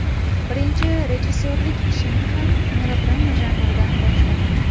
Birinchi rejissyorlik ishimni ham melodrama janridan boshladim.